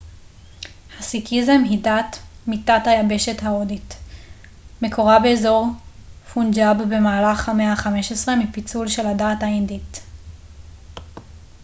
הסיקיזם היא דת מתת היבשת ההודית מקורה באזור פונג'אב במהלך המאה ה-15 מפיצול של של הדת ההינדית